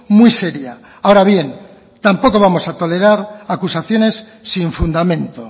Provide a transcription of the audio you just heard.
muy seria ahora bien tampoco vamos a tolerar acusaciones sin fundamento